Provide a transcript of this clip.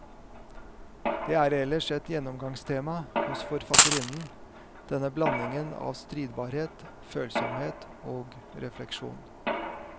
Det er ellers et gjennomgangstema hos forfatterinnen, denne blandingen av stridbarhet, følsomhet og refleksjon.